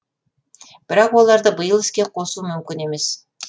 бірақ оларды биыл іске қосу мүмкін емес